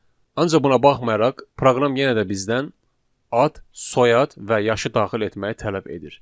Ancaq buna baxmayaraq proqram yenə də bizdən ad, soyad və yaşı daxil etməyi tələb edir.